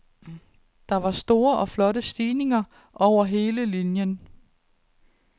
Der var store og flotte stigninger over hele linien.